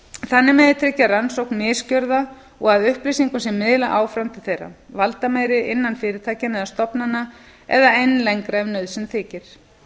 þannig megi tryggja rannsókn misgjörða og að upplýsingum sé miðlað áfram til þeirra valdameiri innan fyrirtækja eða stofnana eða enn lengra ef nauðsyn þykir